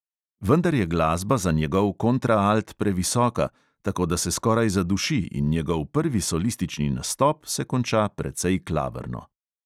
Vendar je glasba za njegov kontraalt previsoka, tako da se skoraj zaduši in njegov prvi solistični nastop se konča precej klavrno.